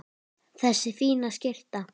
Þessi fína skyrta!